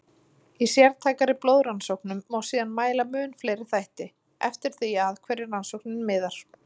Í sértækari blóðrannsóknum má síðan mæla mun fleiri þætti, eftir því að hverju rannsóknin miðar.